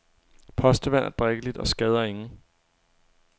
Postevand er drikkeligt og skader ingen.